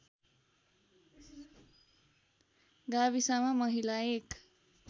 गाविसमा महिला एक